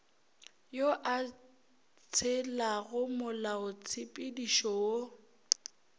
yo a tshelago molaotshepedišo wo